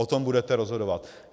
O tom budete rozhodovat.